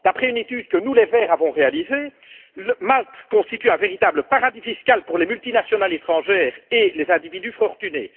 D'après une étude que nous, les Verts, avons réalisée, Malte constitue un véritable paradis fiscal pour les multinationales étrangères et les individus fortunés.